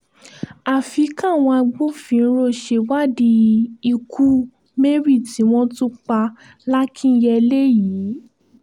àfi káwọn agbófinró ṣèwádìí ikú mary tí wọ́n tún pa làkínyẹ̀lẹ̀ yìí